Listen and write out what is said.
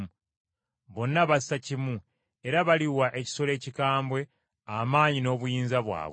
Bonna bassa kimu era baliwa ekisolo ekikambwe, amaanyi n’obuyinza bwabwe.